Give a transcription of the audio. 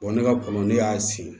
ne ka kɔlɔn ne y'a sin